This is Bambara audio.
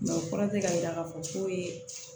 o kɔrɔ tɛ k'a yira k'a fɔ ko